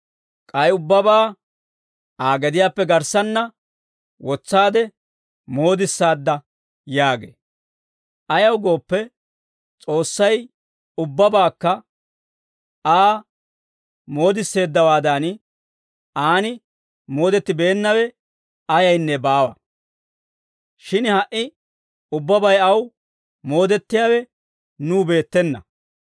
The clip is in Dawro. K'ay ubbabaa Aa gediyaappe garssanna wotsaade moodissaadda» yaagee. Ayaw gooppe, S'oossay ubbabaakka Aa moodisseeddawaadan aan moodettibeennawe ayaynne baawa; shin ha"i ubbabay aw moodettiyaawe nuw beettena.